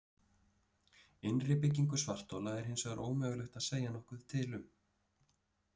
Innri byggingu svarthola er hins vegar ómögulegt að segja nokkuð til um.